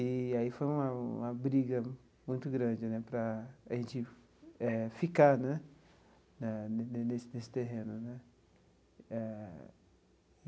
E aí foi uma uma briga muito grande né para a gente eh ficar né eh ne ne nesse nesse terreno né eh.